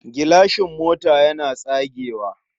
Gilashin mota yana tsagewa.